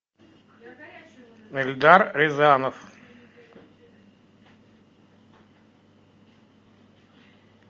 эльдар рязанов